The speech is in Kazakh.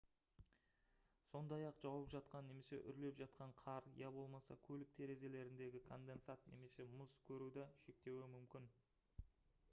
сондай-ақ жауып жатқан немесе үрлеп жатқан қар я болмаса көлік терезелеріндегі конденсат немесе мұз көруді шектеуі мүмкін